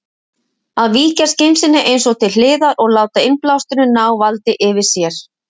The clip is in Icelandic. Að víkja skynseminni eins og til hliðar og láta innblásturinn ná valdi yfir sér.